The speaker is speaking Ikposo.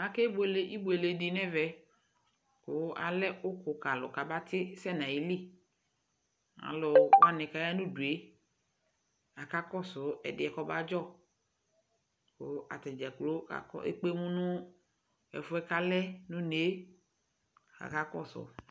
Akebuele ibuele dɩ n'ɛvɛ kʋ alɛ ʋkʋ kalʋ k'abatisɛ n'ayili Alʋwanɩ k'aya ŋ'ayidu yɛ akakɔsʋ ɛdɩ yɛ kɔbadzɔ kʋ atadzaa kplo ekpe emu nʋ ɛfu yɛ k'alɛ n'une yɛ k'akakɔsʋ